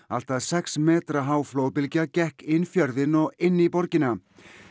allt að sex metra há flóðbylgja gekk inn fjörðinn og inn í borgina